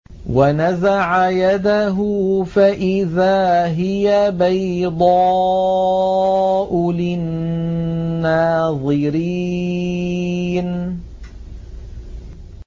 وَنَزَعَ يَدَهُ فَإِذَا هِيَ بَيْضَاءُ لِلنَّاظِرِينَ